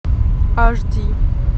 аш ди